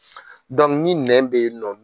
ni nɛn bɛ yen nɔ